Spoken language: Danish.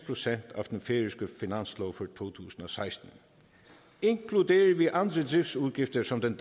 procent af den færøske finanslov for to tusind og seksten inkluderer vi andre driftsudgifter som den